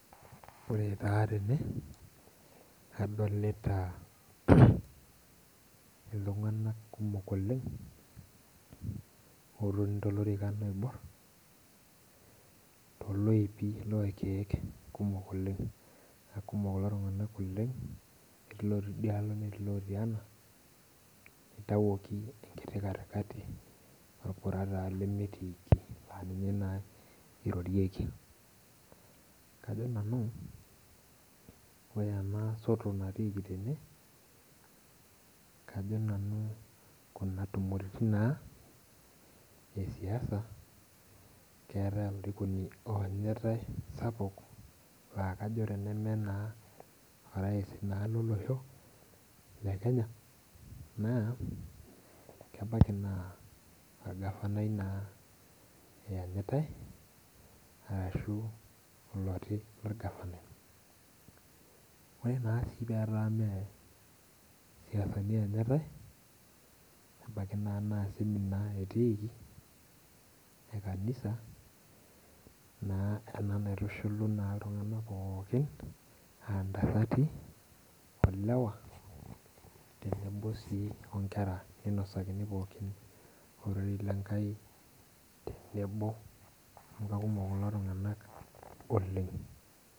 Ore taa tene, adolita iltung'anak kumok oleng, otoni tolorikan oibor. Toloipi lorkeek kumok oleng. Na kumok kulo tung'anak oleng, etii lotii idialo netii lotii ena, itawuoki enkiti katikati, orpura taa lemetiiki aninye taa irorieki. Kajo nanu, ore ena soto natiiki tene, kajo nanu kuna tumoritin naa, esiasa keeta olarikoni onyitai sapuk, la kajo tenemeninye naa orais naa lolosho, le Kenya naa, kebaki naa orgavanai naa eenyitai, ashu oloti orgavanai. Ore na si petaa me siasani enyitai, nebaiki na semina naa etiiki ekanisa, naa ena naitushuluni naa iltung'anak pookin, ah ntasati, olewa, tenebo si onkera ninosakini pookin, ororei lenkai tenebo amu kakumok kulo tung'anak oleng.